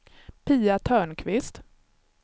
Pia Törnqvist